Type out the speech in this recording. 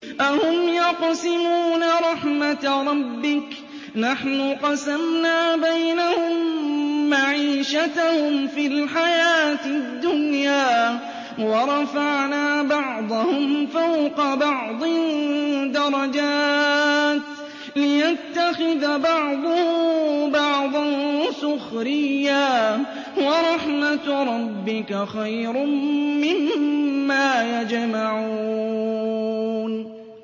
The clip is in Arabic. أَهُمْ يَقْسِمُونَ رَحْمَتَ رَبِّكَ ۚ نَحْنُ قَسَمْنَا بَيْنَهُم مَّعِيشَتَهُمْ فِي الْحَيَاةِ الدُّنْيَا ۚ وَرَفَعْنَا بَعْضَهُمْ فَوْقَ بَعْضٍ دَرَجَاتٍ لِّيَتَّخِذَ بَعْضُهُم بَعْضًا سُخْرِيًّا ۗ وَرَحْمَتُ رَبِّكَ خَيْرٌ مِّمَّا يَجْمَعُونَ